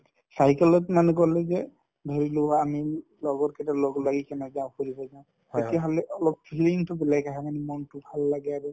cycle ত মানুহ গ'লে কি হয় ধৰিলোৱা আমি লগৰ কেইটা লগ লাগি কিনে যাওঁ ফুৰিবলৈ তেতিয়াহ'লে অলপ feeling তো বেলেগ আহে মানে মনটো ভাল লাগে আৰু